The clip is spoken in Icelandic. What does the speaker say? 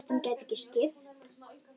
Kveiki á kertum.